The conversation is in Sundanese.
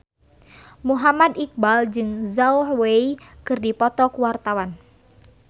Muhammad Iqbal jeung Zhao Wei keur dipoto ku wartawan